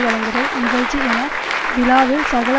வழங்குதல் நிகழ்ச்சி என விழாவில் சகல